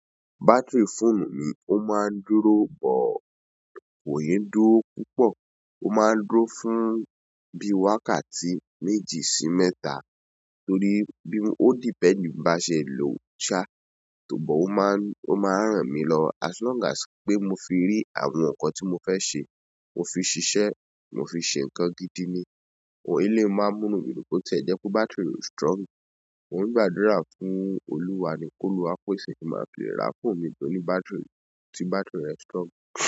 Battery fóònù mi, ó máa ń dúró bọ̀, kò yín dúró púpọ̀. Ó máa ń dúró fún bí wákàtí méjì sí mẹ́ta torí bí ó dependi bí n bá ṣe lòó ṣá, ṣùgbọ́n ó máa ń, ó máa ń ràn mí lọ́wọ́ as long as pé mo fi rí àwọn nǹkan tí mo fẹ́ ṣe, mo fi ṣiṣẹ́, mo fi ṣe nǹkan gidi ni. But eléyìí máa ń mú inú mi dùn ni, bóti e jẹ pé battery rẹ̀ kò strong, mò ń gbàdúrà fún Olúwa ni kó Olúwa ó pèsè tí n máa fi ra fóònù míì, tóní battery, ti battery rẹ̀ strong.